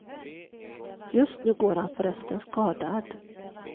Just nu går han förresten skadad.